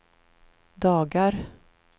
dagar